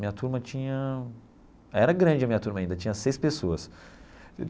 Minha turma tinha... Era grande a minha turma ainda, tinha seis pessoas.